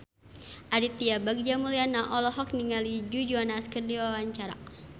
Aditya Bagja Mulyana olohok ningali Joe Jonas keur diwawancara